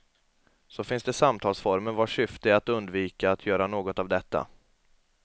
Så finns det samtalsformer vars syfte är att undvika att göra något av detta.